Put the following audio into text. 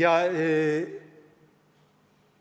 Ja